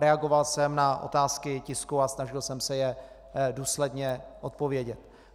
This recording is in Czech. Reagoval jsem na otázky tisku a snažil jsem se je důsledně odpovědět.